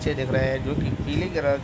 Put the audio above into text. बच्चे दिख रहे हैं जो की पीले कलर की--